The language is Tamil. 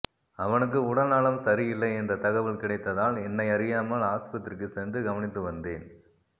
அவனுக்கு உடல்நலம் சரியில்லை என்ற தகவல் கிடைத்தால் என்னையறியாமல் ஆஸ்பத்திரிக்குச் சென்று கவனித்துவந்தேன்